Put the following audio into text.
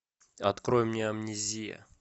открой мне амнезия